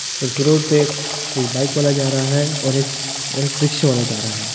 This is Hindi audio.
उस रोड पे एक बाईक वाला जा रहा है और एक और एक रिक्शे वाला जा रहा है।